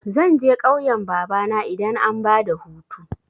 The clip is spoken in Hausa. Zan je ƙauyan babana idan an bada hutu.